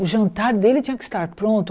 O jantar dele tinha que estar pronto.